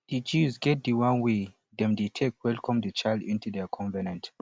di jews get the one wey dem de take welcome the child into their covenant